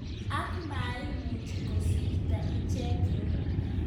Ak maimuch kosirto icheket kiotok.